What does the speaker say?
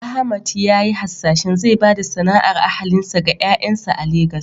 Ahmad ya yi hasashen zai ba da sana’ar ahalinsa ga ƴaƴansa a Legas.